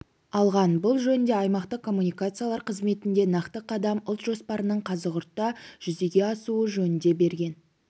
алған бұл жөнінде аймақтық коммуникациялар қызметінде нақты қадам ұлт жоспарының қазығұртта жүзеге асуы жөнінде берген